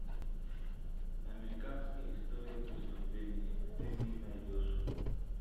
американская история преступлений ты мне найдешь